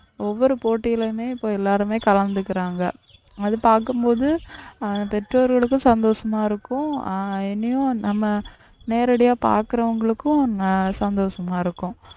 ஒவ்வொரு போட்டியிலுமே இப்ப எல்லாருமே கலந்துக்குறாங்க அது பார்க்கும் போது அஹ் பெற்றோர்களுக்கும் சந்தோஷமா இருக்கும் ஆஹ் இனியும் நம்ம நேரடியா பார்க்கிறவங்களுக்கும் அஹ் சந்தோஷமா இருக்கும்